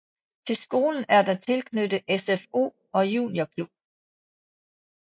Til skolen er der tilknyttet SFO og juniorklub